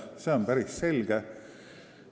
See on päris selge.